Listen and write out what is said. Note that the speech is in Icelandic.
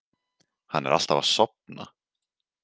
Hann er alltaf að sofna.